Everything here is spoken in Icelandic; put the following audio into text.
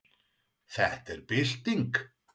Þetta er bylting.